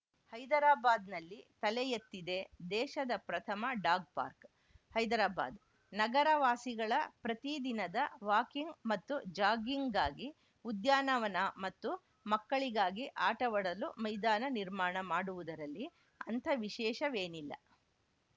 ಹೈದರಾಬಾದ್‌ನಲ್ಲಿ ತಲೆ ಎತ್ತಿದೆ ದೇಶದ ಪ್ರಥಮ ಡಾಗ್‌ ಪಾರ್ಕ್ ಹೈದರಾಬಾದ್‌ ನಗರ ವಾಸಿಗಳ ಪ್ರತೀ ದಿನದ ವಾಕಿಂಗ್‌ ಮತ್ತು ಜಾಗ್ಗಿಂಗ್‌ಗಾಗಿ ಉದ್ಯಾನವನ ಮತ್ತು ಮಕ್ಕಳಿಗಾಗಿ ಆಟವಾಡಲು ಮೈದಾನ ನಿರ್ಮಾಣ ಮಾಡುವುದರಲ್ಲಿ ಅಂಥ ವಿಶೇಷವೇನಿಲ್ಲ